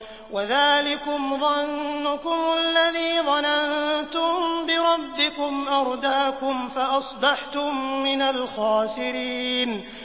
وَذَٰلِكُمْ ظَنُّكُمُ الَّذِي ظَنَنتُم بِرَبِّكُمْ أَرْدَاكُمْ فَأَصْبَحْتُم مِّنَ الْخَاسِرِينَ